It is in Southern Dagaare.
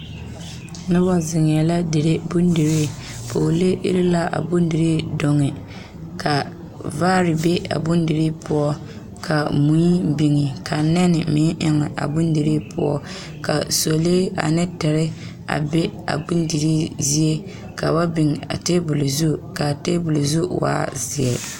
Noba zeŋee la a dire bondirii pɔɔlee iri la a bondirii duŋ kaa vaare be a bondirii poɔ kaa kui biŋ ka nɛnɛ meŋ eŋ a bondirii poɔ ka sɔlee ane tere a be a bondirii zie ka ba biŋ a taabol zu kaa taabol zu waa zeɛ